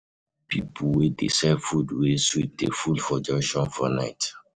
Pipo wey dey sell food wey sweet dey full for junction for night.